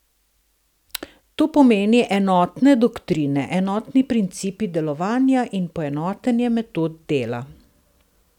To pomeni enotne doktrine, enotni principi delovanja in poenotenje metod dela.